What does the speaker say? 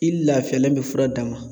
I lafiyalen be fura d'a ma